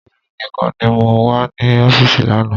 Èmi nìkan ni mo wà ní ọfísì lánàá